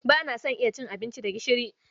Ba na son iya cin abinci da gishiri.